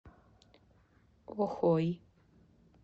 охой